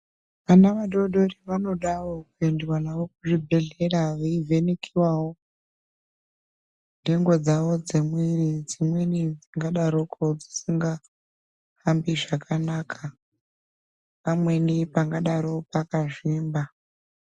Vana vadori vadori vanodawo kuendwa navo kuzvibhedhlera veivhenekiwavo ndengo dzavo dzemwiiri dzimweni dzakadaroko dzisingahambi zvakanaka, pamweni pangadaro pakazvimba.